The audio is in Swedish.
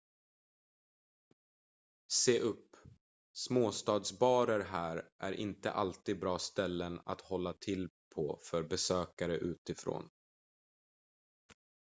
se upp småstadsbarer här är inte alltid bra ställen att hålla till på för besökare utifrån